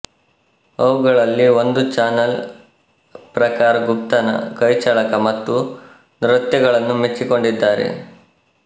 ಅವುಗಳಲ್ಲಿ ಒಂದು ಚಾನೆಲ್ ಪ್ರಖರ್ ಗುಪ್ತನ ಕೈಚಳಕ ಮತ್ತು ನೃತ್ಯಗಳನ್ನು ಮೆಚ್ಚಿಕೊಂಡಿದ್ದಾರೆ